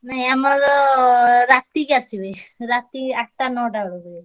ନାଇଁ ଆମର ରା~ ତିକି~ ଆସିବେ। ରାତି ଆଠଟା ନଅଟା ବେଳକୁ।